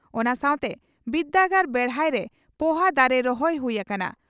ᱚᱱᱟ ᱥᱟᱣᱛᱮ ᱵᱤᱨᱫᱟᱹᱜᱟᱲ ᱵᱮᱲᱦᱟᱭ ᱨᱮ ᱯᱚᱦᱟ ᱫᱟᱨᱮ ᱨᱚᱦᱚᱭ ᱦᱩᱭ ᱟᱠᱟᱱᱟ ᱾